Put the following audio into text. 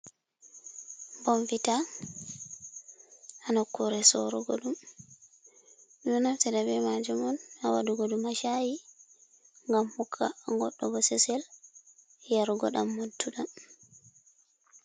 Bombita ha nokkure sorogo ɗum. Ɗum ɗo naftira be majum on ha waɗugo ɗum ha aha, i, ngam hokka goɗɗo bososel yarugoɗam modduɗam.